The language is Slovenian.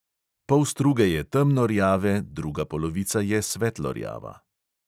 Pol struge je temno rjave, druga polovica je svetlo rjava.